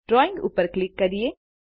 drawing ઉપર click કરીએ